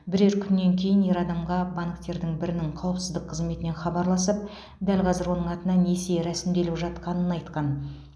бірер күннен кейін ер адамға банктердің бірінің қауіпсіздік қызметінен хабарласып дәл қазір оның атына несие ресімделіп жатқанын айтқан